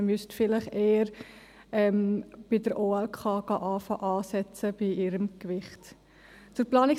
Man müsste vielleicht eher bei der OLK anfangen und bei ihrem Gewicht dort ansetzen.